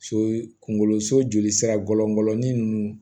So kunkolo so jolisira gɔlɔ ninnu